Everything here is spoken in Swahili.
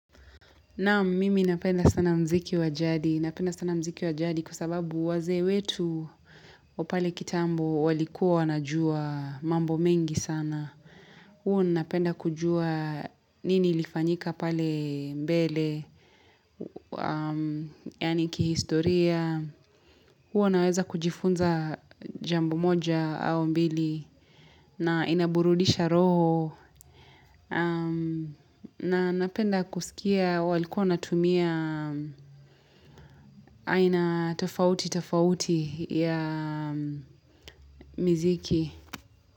Naam mimi napenda sana mziki wa jadi, napenda sana mziki wa jadi kwa sababu wazee wetu wa pale kitambo walikuwa wanajuwa mambo mengi sana. Huwa napenda kujua nini ilifanyika pale mbele, yaani kihistoria. Huwa naweza kujifunza jambo moja au mbili na inaburudisha roho. Na napenda kusikia walikuwa natumia aina tofauti tofauti ya miziki.